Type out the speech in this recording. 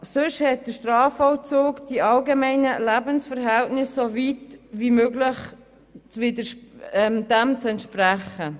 Sonst hat der Strafvollzug den allgemeinen Lebensverhältnissen so weit wie möglich zu entsprechen.